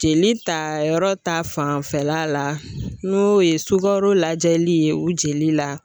Jeli tayɔrɔ ta fanfɛla la n'o ye sukaro lajɛli ye o jeli la